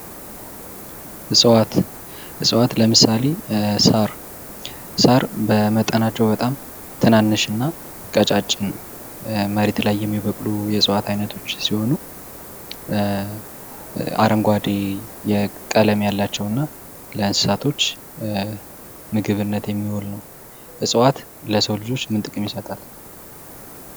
እፅዋት ፦ እፅዋት ለምሳሌ ሳር ፦ ሳር በመጠናቸው በጣም ትናንሽ እና ቀጫጭን መሬት ላይ የሚበቅሉ የእፅዋት አይነቶች ሲሆኑ አረንጓዴ የቀለም ያላቸውና ለእንስሳቶች ምግብነት የሚውል ነው ።እፅዋት ለሰው ልጆች ምን ጥቅም ይሰጣል ?